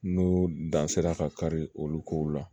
N'o dan sera ka kari olu kow la